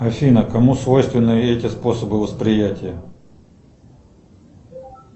афина кому свойственны эти способы восприятия